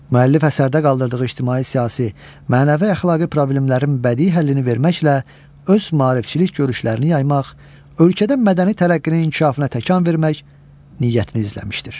Müəllif əsərdə qaldırdığı ictimai-siyasi, mənəvi-əxlaqi problemlərin bədii həllini verməklə öz maarifçilik görüşlərini yaymaq, ölkədə mədəni tərəqqinin inkişafına təkan vermək niyyətini izləmişdir.